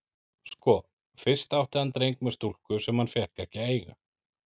Sko, fyrst átti hann dreng með stúlku sem hann fékk ekki að eiga.